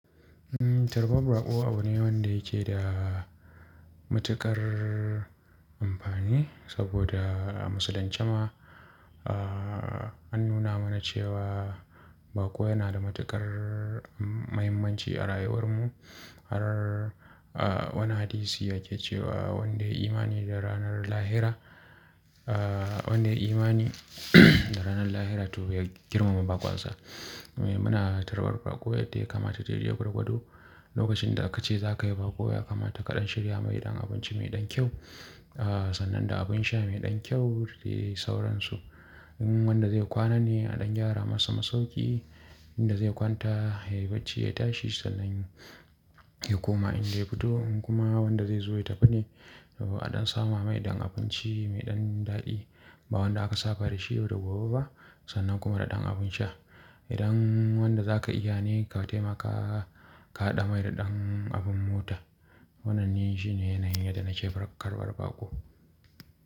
Mm, tarbar baƙo abu ne wanda yake da matuƙar amfani saboda a musulunce ma, ah, an nuna mana cewa baƙo yana da matuƙar mahimmanci a rayuwar mu. Har, ah, wani hadisi yake cewa wanda ya yi imani da ranar lahira, ah, wanda ya yi imani da ranar lahira to ya girmama baƙonsa. Muna tarbar baƙo yadda ya kamata, dai-dai gwargwardo. Lokacin da akace zakayi baƙo, ya kamata kaɗan shirya mai ɗan abinci mai ɗan kyau, ah, sannan da abin sha mai ɗan kyau dadai sauransu. In wanda zai kwana ne a ɗan gyara masa masauki, inda zai kwanta, ya yi bacci, ya tashi sannan ya koma inda ya fito. Kuma wanda zai zo ya tafi ne a ɗan sama mai ɗan abinci mai ɗan daɗi ba wanda aka saba dashi yau da gobe ba sannan kuma da ɗan abin sha. Idan wanda zaka iya ne ka taimaka ka haɗa mai da ɗan abin mota. Wannan ni shine yanayin yadda nake karɓar baƙo.